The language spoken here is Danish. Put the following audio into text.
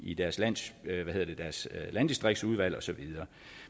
i deres i deres landdistriktsudvalg og så videre